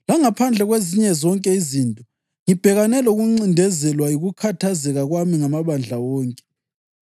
Langaphandle kwezinye zonke izinto; ngibhekane lokuncindezelwa yikukhathazeka kwami ngamabandla wonke.